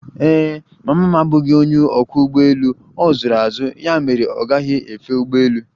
Ee e, mama m abụghị onye ọkwọ ụgbọelu a zụrụ azụ ya mere ọ gaghi efe ụgbọelu